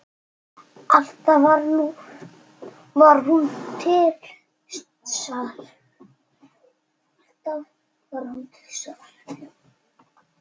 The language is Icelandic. Alltaf var hún til staðar.